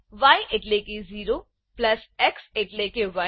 ય એટલેકે 0 plus x એટલેકે 1